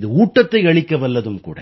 இது ஊட்டத்தை அளிக்கவல்லதும் கூட